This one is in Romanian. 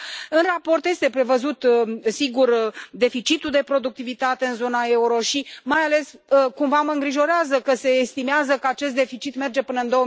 În raport este prevăzut, sigur, deficitul de productivitate în zona euro și, mai ales, cumva mă îngrijorează că se estimează că acest deficit merge până în